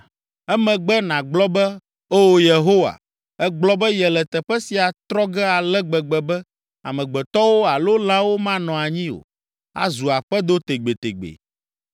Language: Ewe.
Emegbe nàgblɔ be, ‘O Yehowa, ègblɔ be yele teƒe sia tsrɔ̃ ge ale gbegbe be amegbetɔwo alo lãwo manɔ anyi o; azu aƒedo tegbetegbee.’